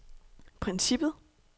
princippet